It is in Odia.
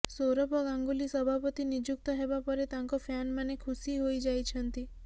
ସୌରଭ ଗାଙ୍ଗୁଲି ସଭାପତି ନିଯୁକ୍ତ ହେବା ପରେ ତାଙ୍କ ଫ୍ୟାନମାନେ ଖୁସି ହୋଇଯାଇଛନ୍ତି